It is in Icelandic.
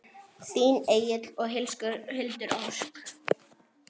Þín Egill og Hildur Ósk.